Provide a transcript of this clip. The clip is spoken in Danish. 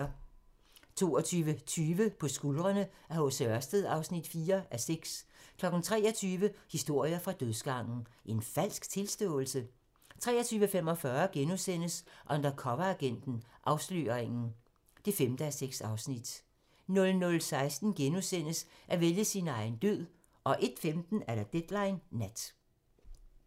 22:20: På skuldrene af H. C. Ørsted (4:6) 23:00: Historier fra dødsgangen - En falsk tilståelse? 23:45: Undercoveragenten - Afsløringen (5:6)* 00:15: At vælge sin egen død * 01:15: Deadline Nat